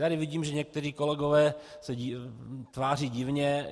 Tady vidím, že někteří kolegové se tváří divně.